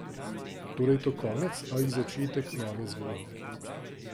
Torej, je to konec ali začetek nove zgodbe?